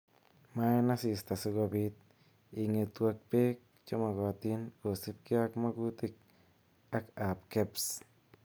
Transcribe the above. Maa en asista si kobit ingetu ak beek chemogotin kosiibge ak magutik ab Kebs.